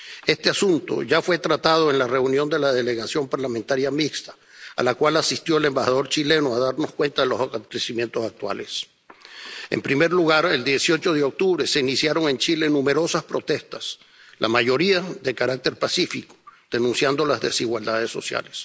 Este asunto ya fue tratado en la reunión de la Delegación en la Comisión Parlamentaria Mixta, a la cual asistió el embajador chileno a darnos cuenta de los acontecimientos actuales. En primer lugar, el 18 de octubre se iniciaron en Chile numerosas protestas, la mayoría de carácter pacífico, denunciando las desigualdades sociales.